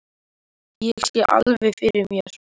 Ég sé það alveg fyrir mér.